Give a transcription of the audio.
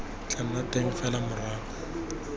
tla nna teng fela morago